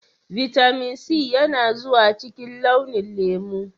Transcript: Vitamin C yana zuwa cikin launi lemu.